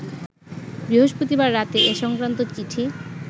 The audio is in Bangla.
বৃহস্পতিবার রাতে এ সংক্রান্ত চিঠি